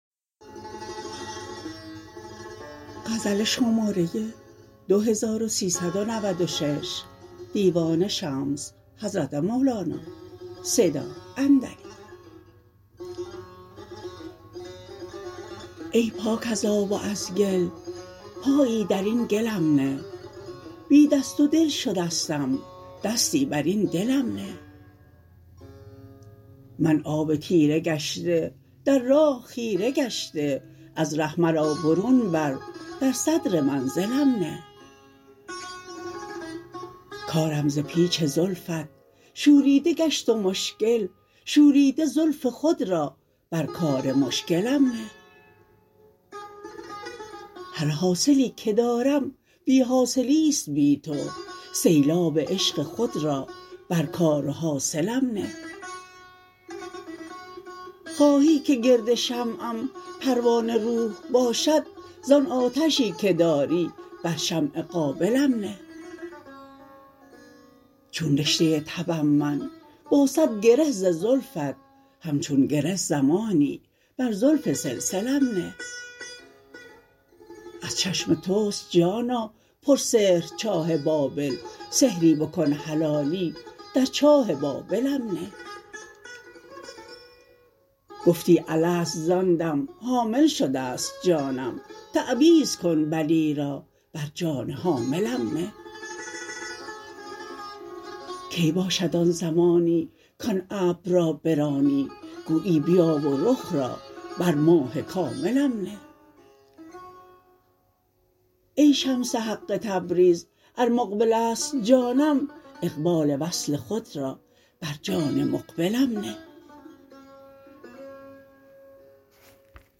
ای پاک از آب و از گل پایی در این گلم نه بی دست و دل شدستم دستی بر این دلم نه من آب تیره گشته در راه خیره گشته از ره مرا برون بر در صدر منزلم نه کارم ز پیچ زلفت شوریده گشت و مشکل شوریده زلف خود را بر کار مشکلم نه هر حاصلی که دارم بی حاصلی است بی تو سیلاب عشق خود را بر کار و حاصلم نه خواهی که گرد شمعم پروانه روح باشد زان آتشی که داری بر شمع قابلم نه چون رشته تبم من با صد گره ز زلفت همچون گره زمانی بر زلف سلسلم نه از چشم توست جانا پرسحر چاه بابل سحری بکن حلالی در چاه بابلم نه گفتی الست زان دم حاصل شده ست جانم تعویذ کن بلی را بر جان حاملم نه کی باشد آن زمانی کان ابر را برانی گویی بیا و رخ را بر ماه کاملم نه ای شمس حق تبریز ار مقبل است جانم اقبال وصل خود را بر جان مقبلم نه